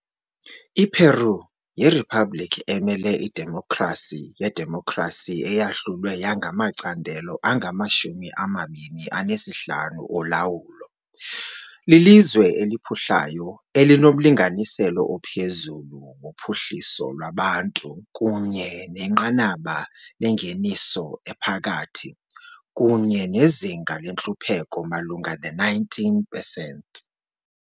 I-Peru yiriphabliki emele idemokhrasi yedemokhrasi eyahlulwe yangamacandelo angamashumi amabini anesihlanu olawulo. Lilizwe eliphuhlayo elinomlinganiselo ophezulu wophuhliso lwabantu kunye nenqanaba lengeniso ephakathi kunye nezinga lentlupheko malunga ne-19 pesenti.